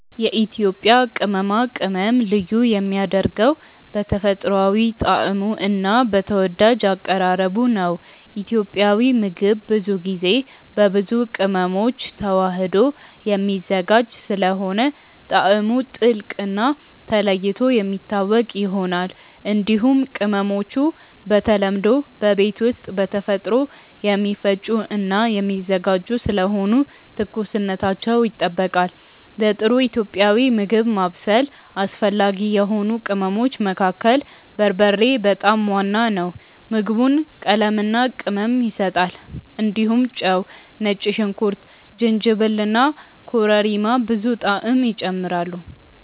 የኢትዮጵያ ቅመማ ቅመም ልዩ የሚያደርገው በተፈጥሯዊ ጣዕሙ እና በተወዳጅ አቀራረቡ ነው። ኢትዮጵያዊ ምግብ ብዙ ጊዜ በብዙ ቅመሞች ተዋህዶ የሚዘጋጅ ስለሆነ ጣዕሙ ጥልቅ እና ተለይቶ የሚታወቅ ይሆናል። እንዲሁም ቅመሞቹ በተለምዶ በቤት ውስጥ በተፈጥሮ የሚፈጩ እና የሚዘጋጁ ስለሆኑ ትኩስነታቸው ይጠበቃል። ለጥሩ ኢትዮጵያዊ ምግብ ማብሰል አስፈላጊ የሆኑ ቅመሞች መካከል በርበሬ በጣም ዋና ነው። ምግቡን ቀለምና ቅመም ይሰጣል። እንዲሁም ጨው፣ ነጭ ሽንኩርት፣ ጅንጅብል እና ኮረሪማ ብዙ ጣዕም ይጨምራሉ።